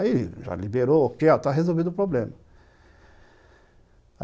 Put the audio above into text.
Aí, já liberou, ok, está resolvido o problema.